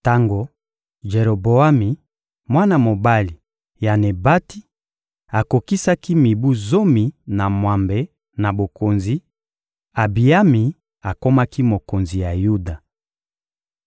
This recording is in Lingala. Tango Jeroboami, mwana mobali ya Nebati, akokisaki mibu zomi na mwambe na bokonzi, Abiyami akomaki mokonzi ya Yuda.